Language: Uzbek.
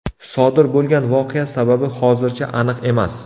Sodir bo‘lgan voqea sababi hozircha aniq emas.